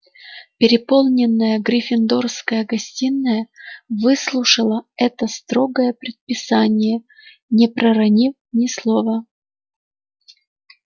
переполненная гриффиндорская гостиная выслушала это строгое предписание не проронив ни слова